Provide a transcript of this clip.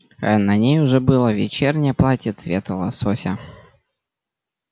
а на ней уже было вечернее платье цвета лосося